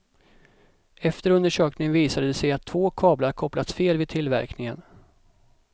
Efter undersökning visade det sig att två kablar kopplats fel vid tillverkningen.